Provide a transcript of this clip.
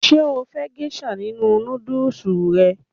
Ṣé o fẹ́ gésà nínu nódùsù rẹ?